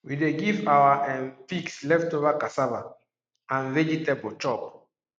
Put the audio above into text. we dey give our um pigs leftover cassava and vegetable chop